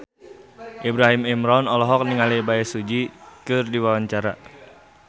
Ibrahim Imran olohok ningali Bae Su Ji keur diwawancara